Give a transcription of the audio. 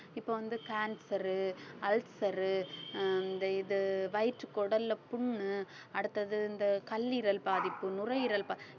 இப்ப வந்து cancer உ ulcer உ அஹ் இந்த இது வயிற்றுக் குடல்ல புண்ணு அடுத்தது இந்த கல்லீரல் பாதிப்பு, நுரையீரல் ப~